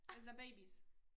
Altså babies